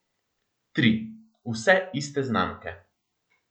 Tri, vse iste znamke.